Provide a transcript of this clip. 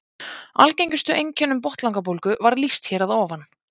algengustu einkennum botnlangabólgu var lýst hér að ofan